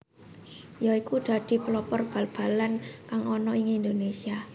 ya iku dadi pelopor bal balan kang ana ing Indonesia